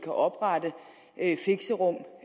oprette fixerum